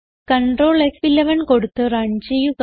Ctrl ഫ്11 കൊടുത്ത് run ചെയ്യുക